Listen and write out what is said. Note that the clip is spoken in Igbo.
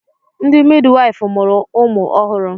Ndị midwaịfụ mụrụ ụmụ ọhụrụ.